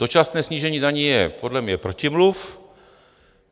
Dočasné snížení daní je podle mě protimluv.